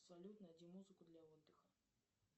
салют найди музыку для отдыха